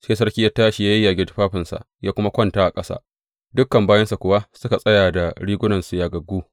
Sai sarki ya tashi, ya yage tufafinsa, ya kuma kwanta a ƙasa; dukan bayinsa kuwa suka tsaya da rigunansu yagaggu.